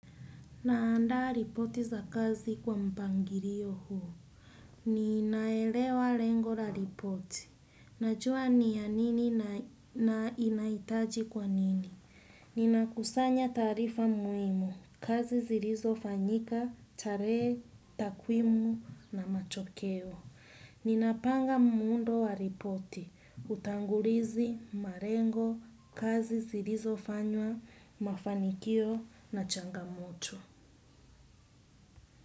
Naanda ripoti za kazi kwa mpangilio huu. Ninaelewa lengo la ripoti. Najua ni ya nini na inahitaji kwa nini. Ninakusanya taarifa muhimu, kazi zilizofanyika, tarehe, takwimu na matokeo. Ninapanga muundo wa ripoti, utangulizi, malengo, kazi zilizofanywa, mafanikio na changamoto.